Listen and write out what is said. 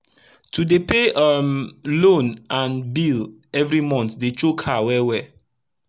to dey pay um loan and bill everi month dey choke her wel wel